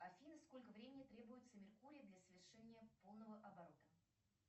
афина сколько времени требуется меркурию для совершения полного оборота